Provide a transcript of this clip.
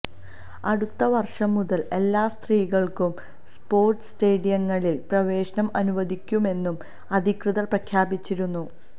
അടുത്ത വര്ഷം മുതല് എല്ലാ സ്ത്രീകള്ക്കും സ്പോര്ട്സ് സ്റ്റേഡിയങ്ങളില് പ്രവേശനം അനുവദിക്കുമെന്നും അധികൃതര് പ്രഖ്യാപിച്ചിരുന്നു